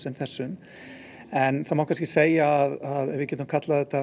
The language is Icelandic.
þessum en það má kannski segja að við getum kallað þetta